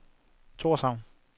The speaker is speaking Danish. Torshavn